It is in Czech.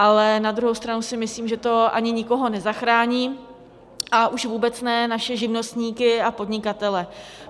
Ale na druhou stranu si myslím, že to ani nikoho nezachrání, a už vůbec ne naše živnostníky a podnikatele.